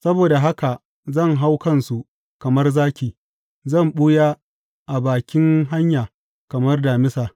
Saboda haka zan hau kansu kamar zaki, zan ɓuya a bakin hanya kamar damisa.